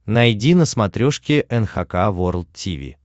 найди на смотрешке эн эйч кей волд ти ви